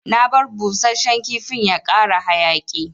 Na bar busashen kifin ya kara hayaki.